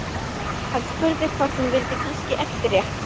Hann spurði hvort hún vildi kannski eftirrétt.